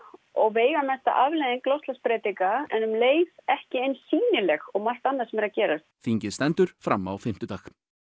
og veigamesta afleiðing loftslagsbreytinga en um leið ekki eins sýnileg og annað sem er að gerast þingið stendur fram á fimmtudag